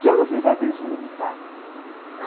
Se eu não fizer bem, o senhor não me paga.